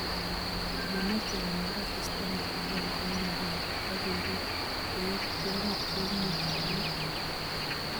Mameche konyor asista nebo agenge eng agenge ak keriib eng tiong'ik cheimuchi kong'em